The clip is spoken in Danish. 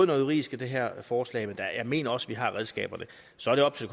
noget juridisk i det her forslag men jeg mener også vi har redskaberne så er det op til